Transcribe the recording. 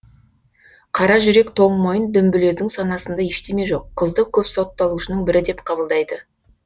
қаражүрек тоңмойын дүмбілездің санасында ештеме жоқ қызды көп сотталушының бірі деп қабылдайды